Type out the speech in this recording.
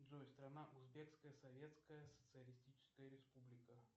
джой страна узбекская советская социалистическая республика